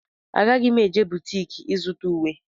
Agaghị m eje butiki ịzụta ùwé.